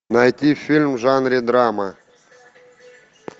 найти фильм в жанре драма